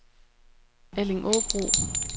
Allingåbro